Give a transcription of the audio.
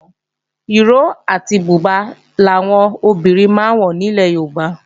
Ìró àti bùbá làwọn obìnrin máa ń wọ nílẹ̀ Yorùbá